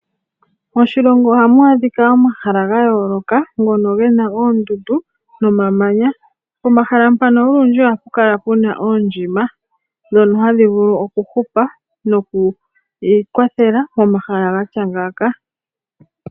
Moshilongo ohamu adhika omahala ga yooloka ngono gena oondundu noma manya. Pomahala mpano olundji ohapu Kala Puna oondjima dhono handhi vulu oku hupa noku ikwathela pomahala gatya ngaaka.